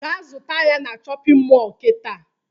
Gaa zụta ya na shọpịn mọọ kịta!